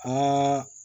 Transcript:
Ko